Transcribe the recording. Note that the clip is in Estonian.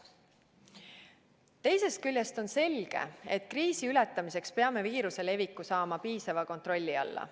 Teisest küljest on selge, et kriisi ületamiseks peame viiruse leviku saama piisava kontrolli alla.